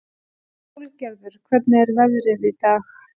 Sólgerður, hvernig er veðrið í dag?